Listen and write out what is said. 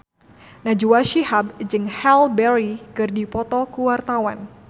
Najwa Shihab jeung Halle Berry keur dipoto ku wartawan